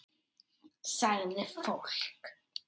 Sagði fólk.